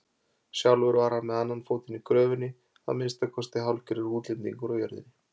Sjálfur var hann með annan fótinn í gröfinni, að minnsta kosti hálfgerður útlendingur á jörðinni.